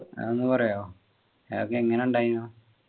അതൊന്നു പറയുമോ അതൊക്കെ എങ്ങനെ ഉണ്ടായിന്നു